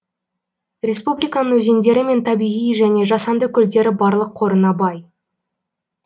республиканың өзендері мен табиғи және жасанды көлдері барлық қорына бай